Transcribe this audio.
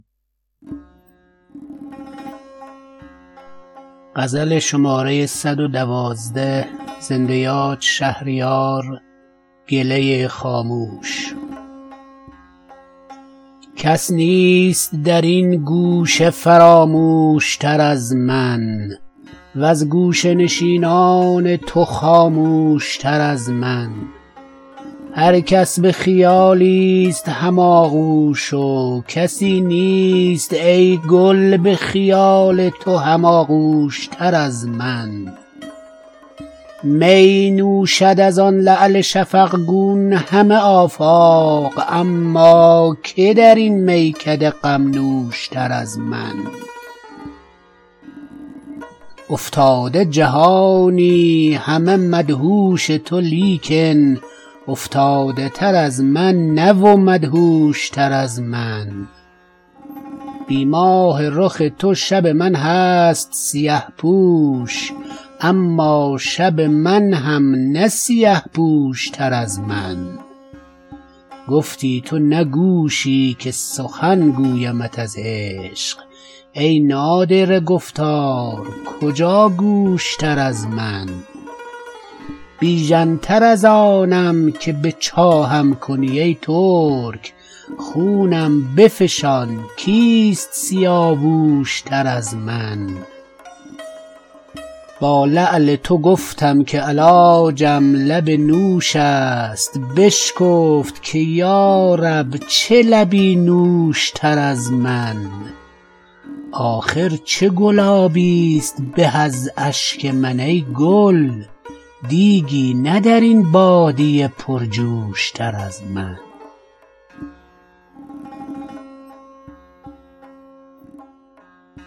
کس نیست در این گوشه فراموش تر از من وز گوشه نشینان تو خاموش تر از من هر کس به خیالی ست هم آغوش و کسی نیست ای گل به خیال تو هم آغوش تر از من می نوشد از آن لعل شفقگون همه آفاق اما که در این میکده غم نوش تر از من افتاده جهانی همه مدهوش تو لیکن افتاده تر از من نه و مدهوش تر از من بی ماه رخ تو شب من هست سیه پوش اما شب من هم نه سیه پوش تر از من گفتی تو نه گوشی که سخن گویمت از عشق ای نادره گفتار کجا گوش تر از من می خوابم و چشم از حسد مدعی ام باز کو خرتر از این حاسد و خرگوش تر از من بیژن تر از آنم که به چاهم کنی ای ترک خونم بفشان کیست سیاووش تر از من با لعل تو گفتم که علاجم لب نوش است بشکفت که یارب چه لبی نوش تر از من آخر چه گلابی است به از اشک من ای گل دیگی نه در این بادیه پرجوش تر از من